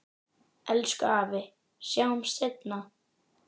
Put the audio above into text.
Elsku afi, sjáumst seinna.